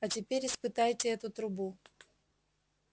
а теперь испытайте эту трубу